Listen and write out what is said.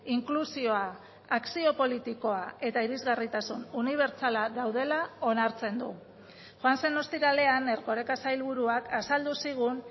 inklusioa akzio politikoa eta irisgarritasun unibertsala daudela onartzen du joan zen ostiralean erkoreka sailburuak azaldu zigun